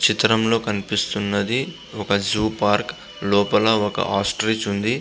చిత్రం లో కనిపిస్తున్నది ఒక జూ పార్క్ . లోపల ఒక ఆస్ట్రిచ్ ఉంది.